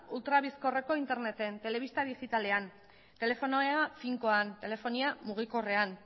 ultra bizkorreko interneten telebista digitalean telefonia finkoan telefonia mugikorrean